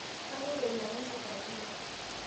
Kaloito ainyang'u nkifagio